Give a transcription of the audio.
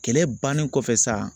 Kɛlɛ bannen kɔfɛ sa